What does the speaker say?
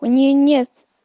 у ней нет